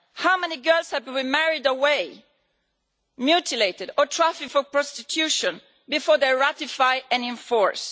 How many girls have to be married away, mutilated or trafficked for prostitution before they ratify and enforce?